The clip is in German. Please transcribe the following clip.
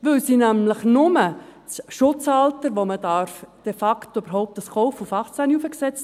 Denn sie haben nämlich nur das Schutzalter, um die Produkte de facto überhaupt kaufen zu können, auf 18 hochgesetzt.